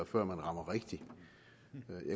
før man rammer rigtigt